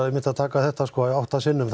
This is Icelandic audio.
að taka þetta átta sinnum